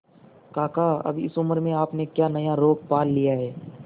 काका अब इस उम्र में आपने क्या नया रोग पाल लिया है